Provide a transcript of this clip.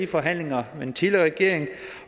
forhandlingerne med den tidligere regering